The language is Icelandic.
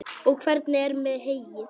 Og hvernig er með heyið?